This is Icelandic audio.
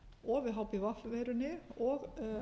og við hpv veiruni og